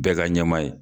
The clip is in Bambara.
Bɛɛ ka ɲɛma ye